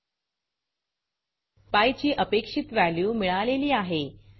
PI ची अपेक्षित value मिळालेली आहे